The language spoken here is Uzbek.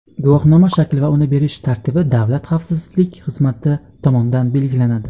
guvohnoma shakli va uni berish tartibi Davlat xavfsizlik xizmati tomonidan belgilanadi.